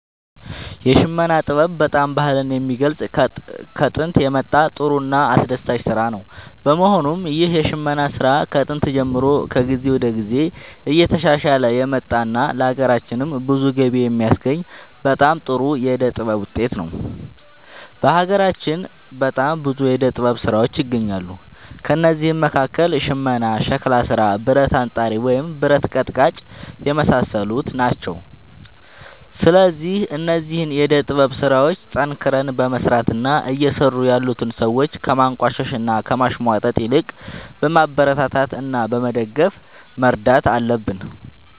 የሽመና ጥበብ በጣም ባህልን የሚገልፅ ከጦንት የመጣ ጥሩ እና አስደሳች ስራ ነው በመሆኑም ይህ የሽመና ስራ ከጥንት ጀምሮ ከጊዜ ወደ ጊዜ እየተሻሻለ የመጣ እና ለሀገራችንም ብዙ ገቢ የሚያስገኝ በጣም ጥሩ የዕደ ጥበብ ውጤት ነው። በሀገራችን በጣም ብዙ የዕደ ጥበብ ስራዎች ይገኛሉ ከእነዚህም መካከል ሽመና ሸክላ ስራ ብረት አንጣሪ ወይም ብረት ቀጥቃጭ የመሳሰሉት ናቸው። ስለዚህ እነዚህን የዕደ ጥበብ ስራዎች ጠንክረን በመስራት እና እየሰሩ ያሉትን ሰዎች ከማንቋሸሽ እና ከማሽሟጠጥ ይልቅ በማበረታታት እና በመደገፍ መርዳት አለብን